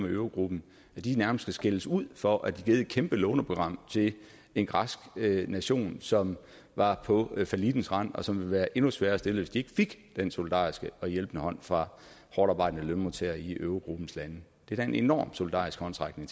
i eurogruppen nærmest skal skældes ud for at de har givet et kæmpe låneprogram til en græsk nation som var på fallittens rand og som ville være endnu sværere stillet hvis de ikke fik den solidariske og hjælpende hånd fra hårdtarbejdende lønmodtagere i eurogruppens lande det er da en enormt solidarisk håndsrækning